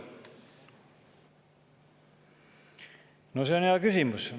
No see on hea küsimus.